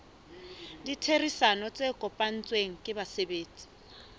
ditherisano tse kopanetsweng ke basebetsi